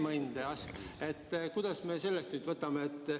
Kuidas me peaksime sellesse suhtuma?